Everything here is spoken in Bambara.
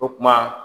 O kuma